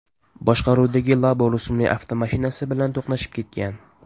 boshqaruvidagi Labo rusumli avtomashinasi bilan to‘qnashib ketgan.